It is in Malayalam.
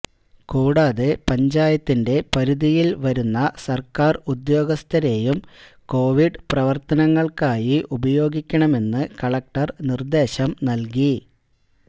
കൂടാതെ പഞ്ചായത്തിന്റെ പരിധിയില് വരുന്ന സര്ക്കാര് ഉദ്യോഗസ്ഥരെയും കൊവിഡ് പ്രവര്ത്തനങ്ങള്ക്കായി ഉപയോഗിക്കണമെന്ന് കലക്ടര് നിര്ദേശം നല്കി